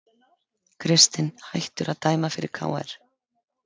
Kristinn hættur að dæma fyrir KR